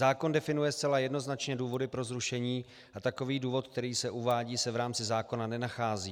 Zákon definuje zcela jednoznačně důvody pro zrušení a takový důvod, který se uvádí, se v rámci zákona nenachází."